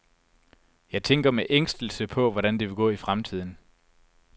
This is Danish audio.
Jeg tænker med ængstelse på, hvordan det vil gå i fremtiden.